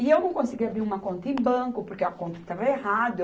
E eu não conseguia abrir uma conta em banco, porque a conta estava errada.